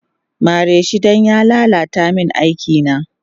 Mareshi dan ya lala ta min aikina